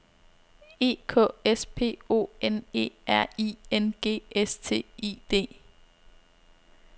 E K S P O N E R I N G S T I D